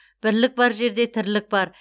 бірлік бар жерде тірлік бар